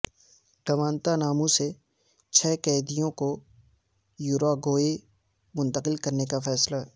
Guantanamo سے چھ قیدیوں کو یوراگوئے منتقل کرنے کا فیصلہ